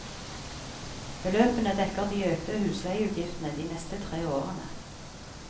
Beløpene dekker de økte husleieutgiftene de neste tre årene.